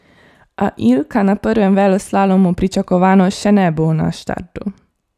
A Ilka na prvem veleslalomu pričakovano še ne bo na štartu.